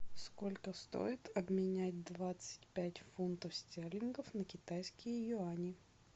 сколько стоит обменять двадцать пять фунтов стерлингов на китайские юани